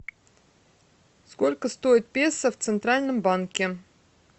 сколько стоит песо в центральном банке